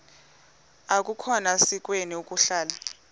akukhona sikweni ukuhlala